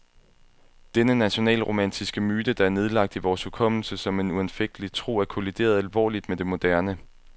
Denne nationalromantiske myte, der er nedlagt i vores hukommelse som en uanfægtelig tro, er kollideret alvorligt med det moderne.